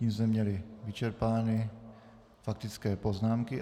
Tím jsme měli vyčerpány faktické poznámky.